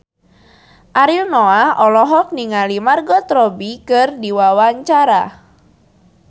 Ariel Noah olohok ningali Margot Robbie keur diwawancara